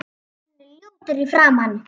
Hann er ljótur í framan.